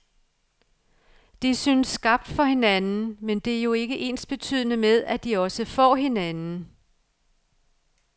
De synes skabt for hinanden, men det er jo ikke ensbetydende med, at de også får hinanden.